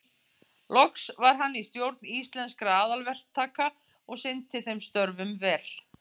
Loks var hann í stjórn Íslenskra aðalverktaka og sinnti þeim störfum vel.